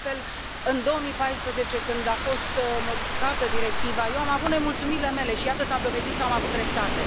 De altfel, în 2014, când a fost modificată directiva, eu am avut nemulțumirile mele și, iată, s a dovedit că am avut dreptate.